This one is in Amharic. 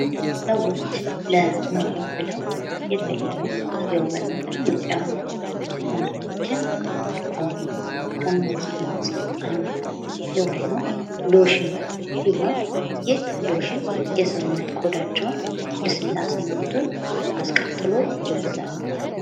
ሰዎች ለመዋብ ብለው የተለያዩ የውበት መጠበቂያ መንገዶችን ይጠቀማሉ። ከነዚህም ውስጥ አንዱ የሆነው ሎሽን ሲሆን ይህ ሎሽን የሰውነት ቆዳቸውን ልስላሴነቱን አስቀጥሎ ይይዛል።